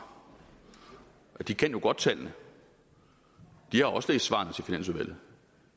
de kan jo godt tallene de har også læst svarene til finansudvalget